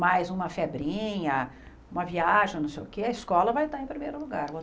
Mais uma febrinha, uma viagem, não sei o que, a escola vai estar em primeiro lugar.